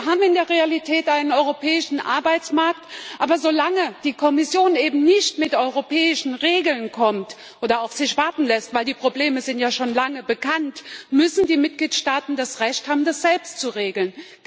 Wir haben in der Realität einen europäischen Arbeitsmarkt, aber solange die Kommission eben nicht mit europäischen Regeln kommt oder auf sich warten lässt die Probleme sind ja schon lange bekannt müssen die Mitgliedstaaten das Recht haben, das selbst zu regeln.